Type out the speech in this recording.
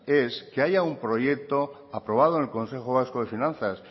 es que haya un proyecto aprobado en el consejo vasco de finanzas